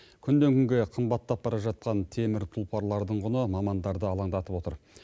күннен күнге қымбаттап бара жатқан темір тұлпарлардың құны мамандарды алаңдатып отыр